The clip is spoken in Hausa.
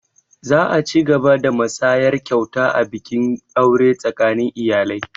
Za a cigaba da musayar kyauta a bikin aure tsakanin iyalai